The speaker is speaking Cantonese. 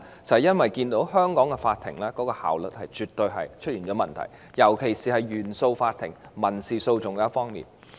就是因為他們看見香港法庭的效率出現問題，尤其是原訟法庭的民事訴訟方面。